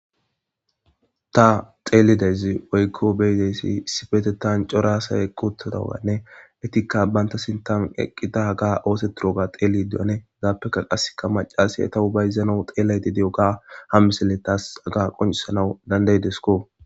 ta xeelidayzi woykko beyideyssi issifete tan coraasay ekotadaganne etikka banta sintan eqqida ga ooseturoga xeeli duane gaappekka qasseka macasi eta hubayzana xeelayti di7oga hammiselle taas aga qoncisanau dandaydesko